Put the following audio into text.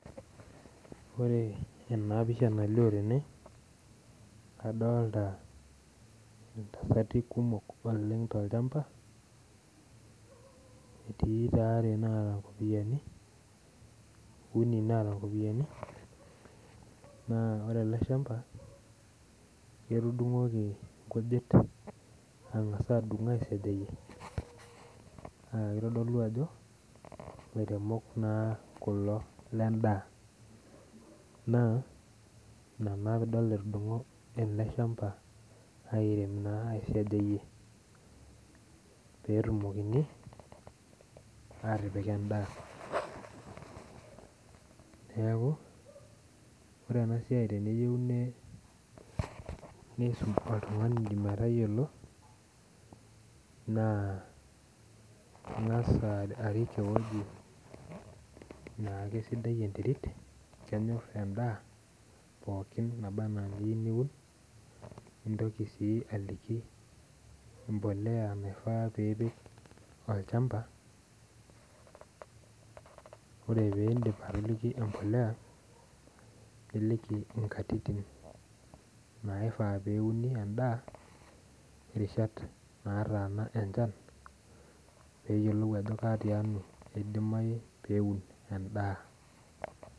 Ore ena pisha nalio tene kadolita entasati kumok oleng tolchamba etii taa uni naata nkopiyiani naa ore ele shamba etudungoki nkujit angas adung aa sajayie naa kitodolu ajo ilairemok naa kulo le daa naa ina na pee idol etudung'o ele shamba airem naa aisajayie pee etumokini aa tipik edaa neeku ore ena siai teneyiieu neifunza oltungani metayiolo naa ingas arik ewueji naake sidai enterit kenyor edaa pookin naba naa eniyieu niwun nitoki sii aliki embolea nafaa pee ipik olchamba ore pee iidip atoliki embolea niliki nkatitin naifaa pee euni edaa irishat naataana enchan pee eyiolou aje tialo edimayu pee eun edaa